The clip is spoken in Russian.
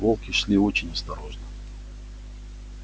волки шли очень осторожно